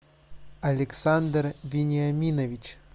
александр вениаминович